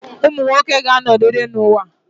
men will always be in existence